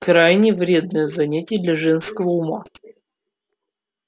крайне вредное занятие для женского ума